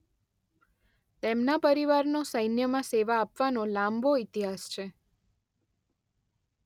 તેમના પરિવારનો સૈન્યમાં સેવા આપવાનો લાંબો ઈતિહાસ છે.